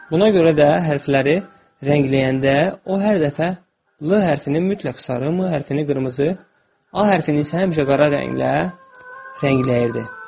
Buna görə də hərfləri rəngləyəndə o hər dəfə 'l' hərfini mütləq sarı, 'm' hərfini qırmızı, 'a' hərfini isə həmişə qara rənglə rəngləyirdi.